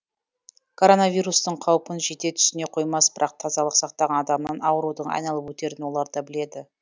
коронавирустың қаупін жете түсіне қоймас бірақ тазалық сақтаған адамнан аурудың айналып өтерін олар да біледі